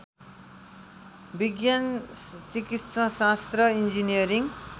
विज्ञान चिकित्साशास्त्र इन्जिनियरिङ